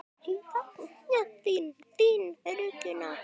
Ég sakna þín, þín Regína.